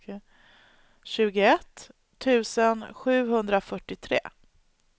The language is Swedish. tjugoett tusen sjuhundrafyrtiotre